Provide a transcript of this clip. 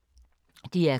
DR K